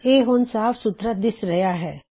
ਹੁਣ ਇਹ ਹੋਰ ਸਾਫ ਸੁਥਰਾ ਦਿਸ ਰਹਿਆ ਹੈ